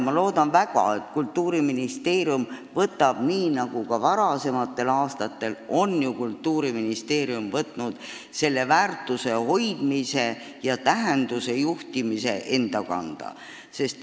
Ma loodan väga, et Kultuuriministeerium võtab, nii nagu ta varasematel aastatel on ju teinud, selle väärtuse hoidmise ja tähenduse selgitamise enda kanda.